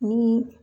Ni